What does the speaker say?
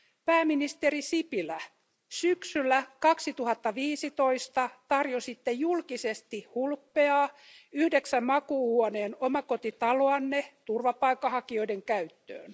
Pääministeri Sipilä, syksyllä 2015 tarjositte julkisesti hulppeaa yhdeksän makuuhuoneen omakotitaloanne turvapaikanhakijoiden käyttöön.